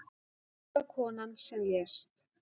Unga konan sem lést